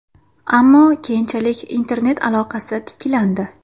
Ammo keyinchalik internet aloqasi tiklandi.